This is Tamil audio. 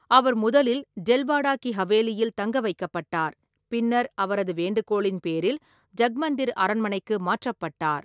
அவர் முதலில் டெல்வாடா கி ஹவேலியில் தங்கவைக்கப்பட்டார், பின்னர் அவரது வேண்டுகோளின் பேரில் ஜக்மந்திர் அரண்மனைக்கு மாற்றப்பட்டார்.